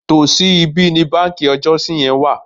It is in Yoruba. Tòsí ibí ni báǹkì ọjọ́si yẹn wà.